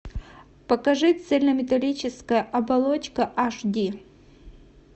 покажи цельнометаллическая оболочка аш ди